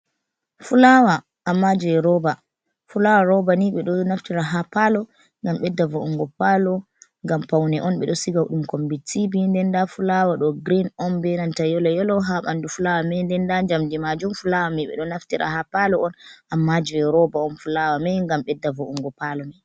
Fulawa amma je roba, fulawa roba ni ɓe ɗo naftira ha palo ngam ɓeɗɗa vo’ungo palo, ngam paune on be do siga ɗum kombi tibi nden da fulawa ɗo green on benanta yelo yelo ha ɓanɗu fulawa mai, nden da jamdi majun fulawa mii ɓe ɗo naftira ha palo on amma je roba on, fulawa mai ngam ɓeɗɗa voungo palo mai.